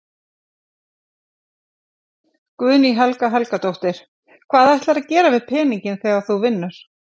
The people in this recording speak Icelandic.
Guðný Helga Helgadóttir: Hvað ætlarðu að gera við peninginn þegar þú vinnur?